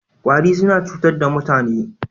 Ƙwari suna cutar da mutane.